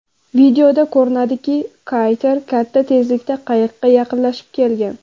Videoda ko‘rinadiki kater katta tezlikda qayiqqa yaqinlashib kelgan.